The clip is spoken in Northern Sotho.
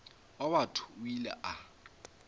wa batho o ile a